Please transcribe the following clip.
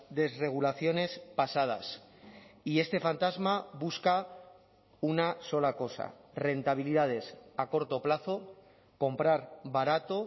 desregulaciones pasadas y este fantasma busca una sola cosa rentabilidades a corto plazo comprar barato